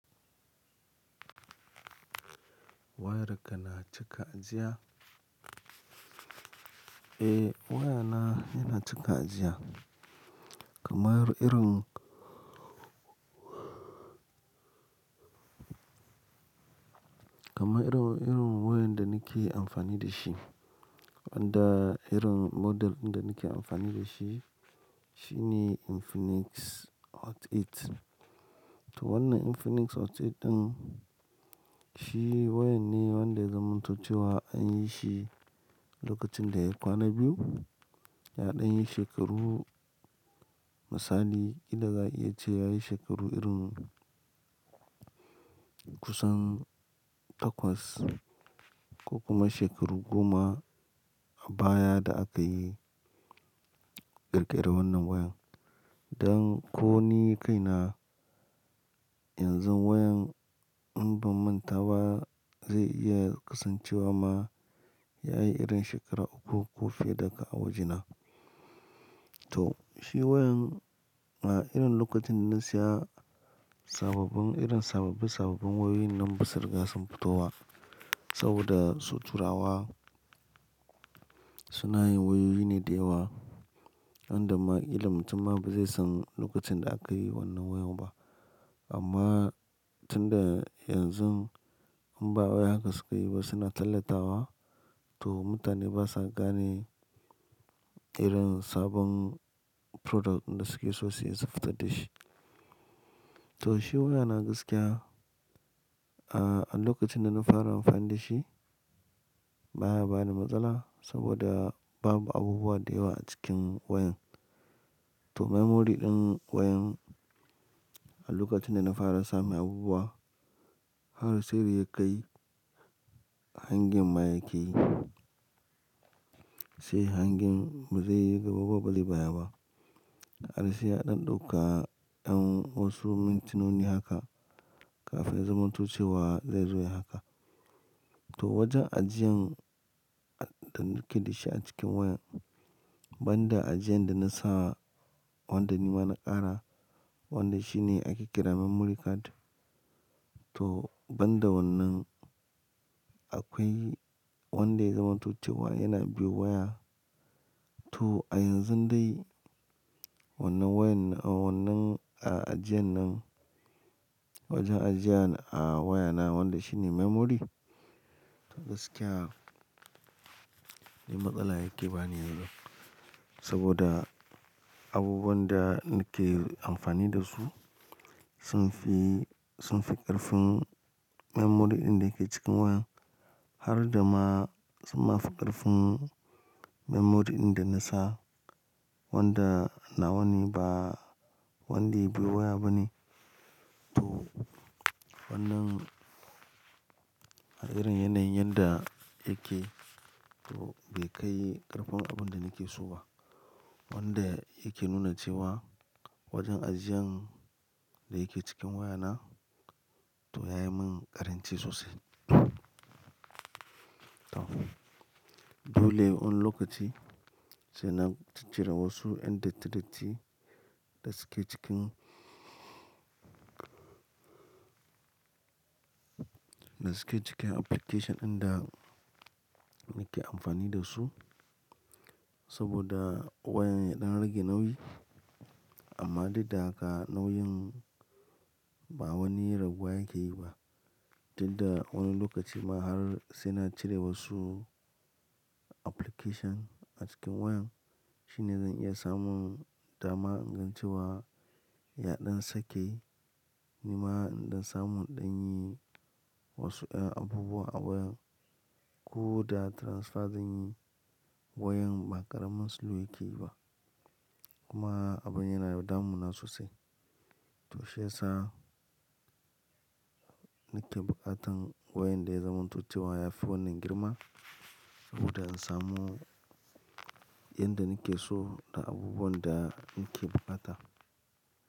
Wayarka na cika ajiya? Eh wayana yana cika ajiya. Kamar irin, kamar irin wayan da nake amfani da shi, wanda irin model da nake amfani da shi, shine Infinix Hot 8. To wannan Infinix Hot 8 ɗin, shi wayan ne wanda ya zamantace wa an yi shi lokacin da ya kwana biyu, ya ɗan yi shekaru, misali idan za a iya ce ya yi shekaru irin kusan takwas ko kuma shekaru goma a baya da aka yi ƙirƙirar wannan wayan. Don ko ni kaina yanzu wayan in ban manta ba zai iya kasancewa ma ya yi irin shekara uku ko fiye daga a wajena. To shi wayan a irin lokacin da na siya sababbin, irin sababbi sababbin wayoyi nan ba sa riga sun fito wa. Saboda suturawa sunayin wayoyi ne da yawa, inda ma illar mutum ma ba zai san lokacin da aka yi wannan wayoyi ba. Amma tunda yanzu in ba wai haka sukayi ba suna talatawa, to mutane basa gane irin sabon product da suke so suyi su fita da shi. To shi wayana gaskiya, a lokacin da na fara amfani da shi baya bani matsala saboda babu abubuwa da yawa a cikin wayan. To memory ɗin wayan a lokacin da na fara samai abubuwa, har sai da ya kai hangin ma yake yi, sai hangin bazai yi gaba ba zai baya ba. Har sai ya ɗan ɗauka wasu mintinoni haka kafin ya zamantace wa zai zo ya haka. To wajen ajiyan da nake da shi a cikin wayan, banda ajiyan da na sa wanda nima na ƙara, wanda shine ake ƙira memory card. To banda wannan akwai wanda ya zamantoce wa yana biyu waya. To a yanzun dai wannan wayan, wannan ajiyan nan, wajen ajiyan a wayana wanda shine memory, to gaskiya bai matsala yake bani yanzu. Saboda abubuwan da nake amfani da su sun fi, sun fi ƙarfin memory ɗin da yake cikin wayan. Har da ma sun fi ƙarfin memory ɗin da na sa wanda na wane ba wanda ya biyo waya ba ne. To wannan a irin yanayin yadda yake to bai kai ƙarfin abin da nake so ba. Wanda yake nuna cewa wajen ajiyan da yake cikin wayana to yayi min ƙarinci sosai. To dole wani lokaci sai na cire wasu yan datti datti da suke cikin, da suke cikin application ɗin da nake amfani da su. Saboda wayan ya ɗan rage nauyi. Amma dinta haka nauyin ba wani raguwa yake yi ba. Tunda wani lokaci ma har sai na cire wasu application a cikin wayan shine zan iya samun dama ingantewa. Ya ɗan sake ni ma in ɗan samu ɗan yi wasu abubuwa a wayan. Ko da transfer zanyi wayan ba ƙaramin slow yake yi ba. Kuma abin yana yaɗamu na sosai. To shi yasa nake buƙatan wayan da ya zamantace waya phone din girma saboda in samu yan da nake so da abubuwan da nake buƙata.